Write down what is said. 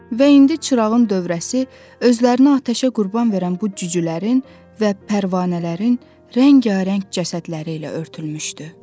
Və indi çırağın dövrəsi özlərini atəşə qurban verən bu cücülərin və pərvanələrin rəngbərəng cəsədləri ilə örtülmüşdü.